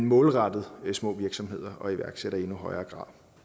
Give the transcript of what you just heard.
målrettet små virksomheder og iværksættere